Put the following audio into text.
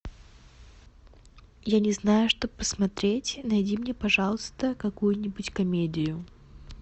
я не знаю что посмотреть найди мне пожалуйста какую нибудь комедию